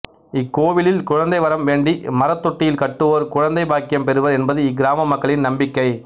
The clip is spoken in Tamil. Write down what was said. இக்கோவிலில் குழந்தை வரம் வேண்டி மரத்தொட்டில் கட்டுவோர் குழந்தை பாக்கியம் பெறுவர் என்பது இக்கிராம மக்களின் நம்பிக்கை